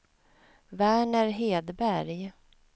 Verner Hedberg